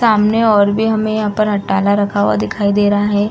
सामने और भी हमें यहाँ पर अट्टाला रखा हुआ दिखाई दे रहा है।